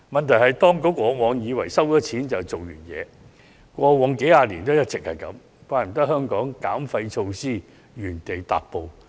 問題是，當局過往數十年來一直以為徵費便可解決問題，難怪香港減廢措施原地踏步。